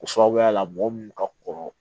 O sababuya la mɔgɔ minnu ka kɔrɔ